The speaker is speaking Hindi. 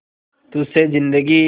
तुझ से जिंदगी